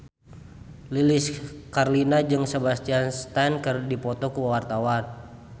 Lilis Karlina jeung Sebastian Stan keur dipoto ku wartawan